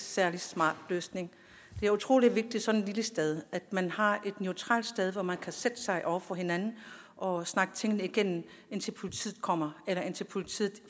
særlig smart løsning det er utrolig vigtigt sådan et lille sted at man har et neutralt sted hvor man kan sætte sig over for hinanden og snakke tingene igennem indtil politiet kommer eller indtil politiet